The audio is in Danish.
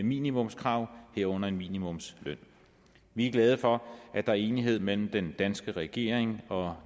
minimumskrav herunder minimumsløn vi er glade for at der er enighed mellem den danske regering og